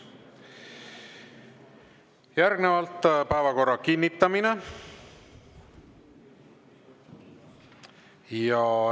Järgnevalt päevakorra kinnitamine.